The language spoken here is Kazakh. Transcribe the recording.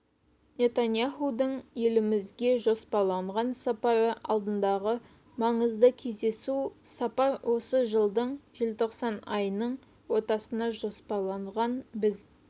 нетаньяхудың елімізге жоспарланған сапары алдындағы маңызды кездесу сапар осы жылдың желтоқсан айының ортасына жоспарланған біз